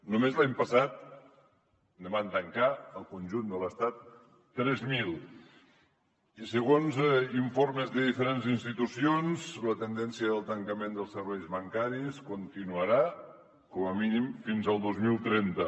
només l’any passat van tancar ne al conjunt de l’estat tres mil i segons informes de diferents institucions la tendència del tancament dels serveis bancaris continuarà com a mínim fins al dos mil trenta